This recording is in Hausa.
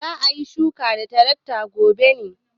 Za a yi shuka da tarakta gobe ne?